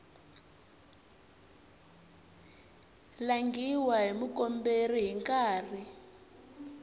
langhiwa hi mukomberi hi nkarhi